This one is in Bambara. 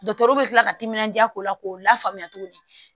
Dɔkitɛriw bɛ kila ka timinandiya k'o la k'o lafaamuya tuguni